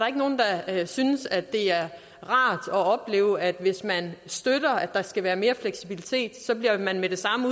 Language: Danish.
er synes at det er rart at opleve at hvis man støtter at der skal være mere fleksibilitet så bliver man med det samme